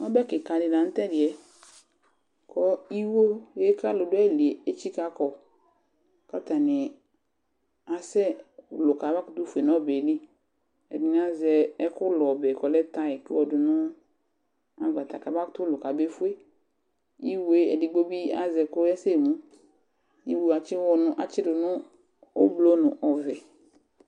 Ɔbɛ kɩka dɩ la nʋ tʋ ɛdɩ yɛ kʋ iwo yɛ kʋ alʋ dʋ ayili yɛ etsikǝ kɔ kʋ atanɩ asɛlʋ kamakʋtʋ fue nʋ ɔbɛ yɛ li Ɛdɩnɩ azɛ ɛkʋ lʋ ɔbɛ kʋ ɔlɛ tayɩk kʋ ayɔdʋ nʋ agbata kamakʋtʋ lʋ kabefue Iwo yɛ edigbo bɩ azɛ kɔyasɛmu Iwo yɛ atsɩwɔ, atsɩdʋ nʋ oblo nʋ ɔvɛ